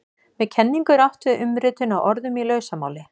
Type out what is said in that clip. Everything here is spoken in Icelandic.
Með kenningu er átt við umritun á orðum í lausamáli.